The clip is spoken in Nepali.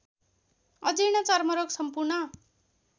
अजीर्ण चर्मरोग सम्पूर्ण